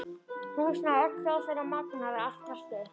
Húsnæði, öll hljóðfæri og magnara, allt draslið.